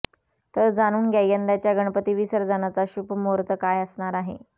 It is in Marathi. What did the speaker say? तर जाणून घ्या यंदाच्या गणपती विसर्जनाचा शुभ मुहूर्त काय असणार आहे